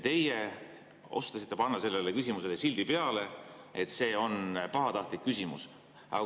Teie otsustasite panna sellele küsimusele sildi peale, et see on pahatahtlik küsimus.